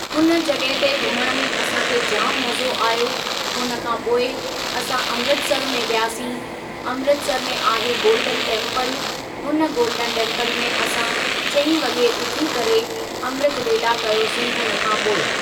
हुन जॻहि ते घुमणु में असांखे जाम मज़ो आयो हुन खां पोइ असां अमृतसर में वियासीं ,अमृतसर में आहे गोल्डन टेम्पल हुन गोल्डन टेम्पल में असां चईं वगे॒ उथी करे अमृत वेला कयोसीं हुन खां पोइ।